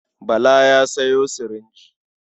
Bala ya sayo sirinji.